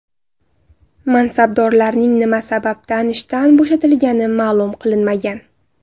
Mansabdorlarning nima sababdan ishdan bo‘shatilgani ma’lum qilinmagan.